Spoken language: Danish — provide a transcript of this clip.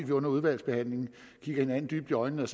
vi under udvalgsbehandlingen kigger hinanden dybt i øjnene